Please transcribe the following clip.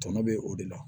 Tɔnɔ bɛ o de la